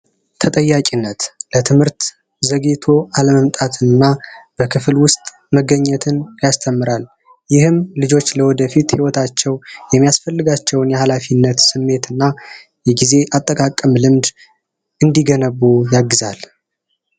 ተጠያቂነት ለትምህርት ዘጌቶ ዓለም ጣት እና በክፍል ውስጥ መገኘትን ያስተምራሉ ይህም ልጆች ለወደፊት ይወታቸው የሚያስፈልጋቸውን ስሜት እና የጊዜ አጠቃቀም ልምድ እንዲገነቡ ያግዛል